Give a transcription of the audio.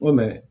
O